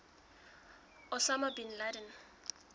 osama bin laden